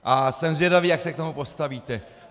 A jsem zvědav, jak se k tomu postavíte.